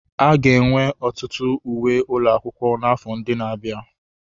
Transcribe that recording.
A ga-enwe ọtụtụ uwe ụlọ akwụkwọ n'afọ ndị na-abịa.